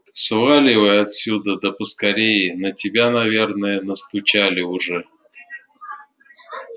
сваливай отсюда да поскорее на тебя наверное настучали уже